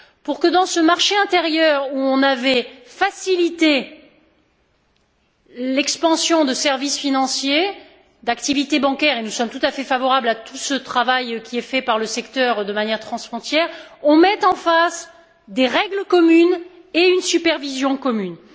Pour que dans ce marché intérieur, où l'on avait facilité l'expansion de services financiers, d'activités bancaires et nous sommes tout à fait favorables à tout ce travail qui est fait par le secteur de manière transfrontalière on mette en phase des règles et une supervision communes.